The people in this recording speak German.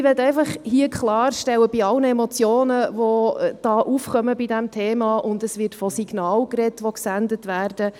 Ich möchte hier einfach klarstellen, bei allen Emotionen, die bei diesem Thema aufkommen, und es wird von Signalen gesprochen, die gesendet werden: